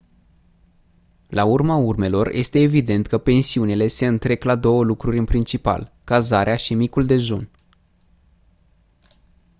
la urma urmelor este evident că pensiunile se întrec la două lucruri în principal cazarea și micul dejun